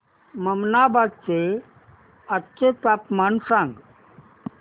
ममनाबाद चे आजचे तापमान सांग